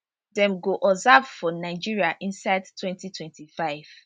dem go observe for nigeria inside 2025